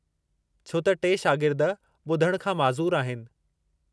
छो त टे शागिर्द ॿुधणु खां माज़ूर आहिनि।